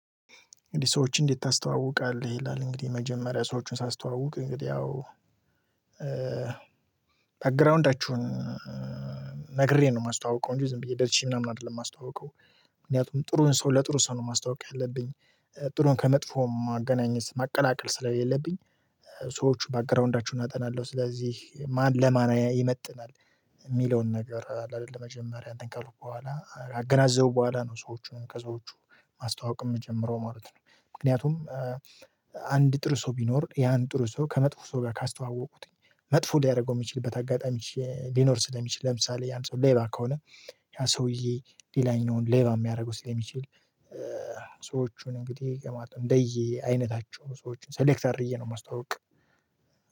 እንግዲህ ሰዎችን እንዴት ታስተዋውቃለህ? ይላል እንግዲህ የመጀመሪያ ሰዎችን ሳስተዋውቅ እንግዲህ ያው ባግራውንዳቾውን ነግሬ ነው የማስተዋውቀው እንጂ ዝም ብዬ ደርሼ ምናምን አይደለም የማስተዋውቀው። ምክንያቱም ጥሩን ሰው ለጥሩ ሰው ነው ማስታወቂያ ያለብኝ፤ ጥሩን ከመጥፎም አገናኘት ማቀላቀል ስለሌለብኝ፤ ሰዎች ባክግራውንዳችሁን አጠናለሁ፤ ስለዚህ ማን ለማን ይመጥናል የሚለውን ነገር ለመጀመሪያ አንተን ከልኩ በኋላ ካገናዘብኩ በኋላ ነው ሰዎቹን ከሰዎቹ ማስተዋወቅ የምትጀምረው ማለት ነው። ምክንያቱም አንድ ጥሩ ሰው ቢኖር ያን ጥሩ ሰው ከመጥፎ ሰው ጋር ካስተዋወቁቱኝ፤ መጥፎ ሊያደርገው የሚችልበት አጋጣሚ ሊኖር ስለሚችል ለምሳሌ ያን ሰው ሌባ ከሆነ ያ ሰውዬ ሌላኛውን ሌባ የሚያደርገው ስለሚችል ሰዎቹን እንግዲህ ማለት ነው እንደየ አይነታቸው ሰዎችን ሰሌክተር አድርጌ ነው የማስተዋውቅ።